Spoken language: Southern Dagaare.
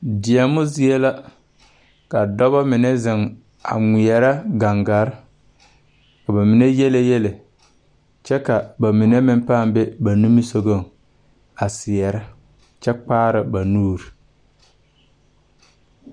Deɛmo zie la, ka dɔbɔ mine zeŋ a ŋmeɛrɛ gaŋgare, ka ba mine yiele yiele, kyɛ ka ba mine pãã be ba nimisogɔŋ a seɛrɛ kyɛ kpaara ba nuuri.